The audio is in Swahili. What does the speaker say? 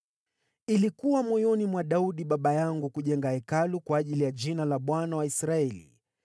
“Ilikuwa moyoni mwa Daudi baba yangu kujenga Hekalu kwa ajili ya Jina la Bwana , Mungu wa Israeli.